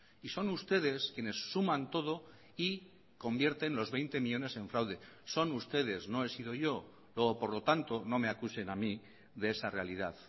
y son ustedes quienes suman todo y convierten los veinte millónes en fraude son ustedes no he sido yo luego por lo tanto no me acusen a mí de esa realidad